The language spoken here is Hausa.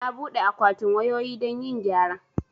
Na buɗe akwatin wayoyi don yin gyara